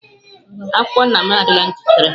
Akwụkwọ nna m adịla njikere.